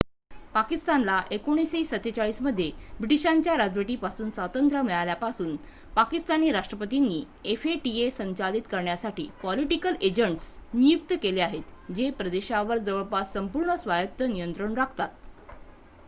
"पाकिस्तानला 1947 मध्ये ब्रिटीशांच्या राजवटीपासून स्वातंत्र्य मिळाल्यापासून पाकिस्तानी राष्ट्रपतींनी fata संचालित करण्यासाठी "पॉलिटिकल एजंट्स" नियुक्त केले आहेत जे प्रदेशावर जवळपास संपूर्ण स्वायत्त नियंत्रण राखतात.